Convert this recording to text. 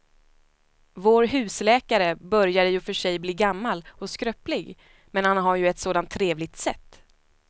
Vår husläkare börjar i och för sig bli gammal och skröplig, men han har ju ett sådant trevligt sätt!